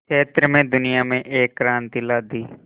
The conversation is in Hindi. क्षेत्र में दुनिया में एक क्रांति ला दी